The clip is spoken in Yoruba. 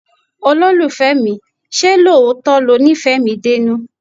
Olólùfẹ́ mi, ṣé lóòótọ́ lo nífẹ̀ẹ́ mi dénú?